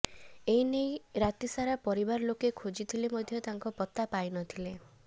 ଏନେଇ ରାତି ସାରା ପରିବାର ଲୋକେ ଖୋଜିଥିଲେ ମଧ୍ୟ ତାଙ୍କ ପତ୍ତା ପାଇନଥିଲେ